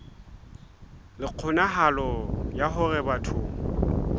le kgonahalo ya hore batho